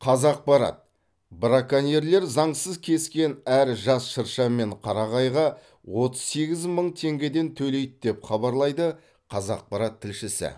қазақпарат браконьерлер заңсыз кескен әр жас шырша мен қарағайға отыз сегіз мың теңгеден төлейді деп хабарлайды қазақпарат тілшісі